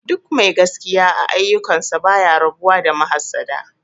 Duk mai gaskiya a aiyukan sa baya rabu da mahassada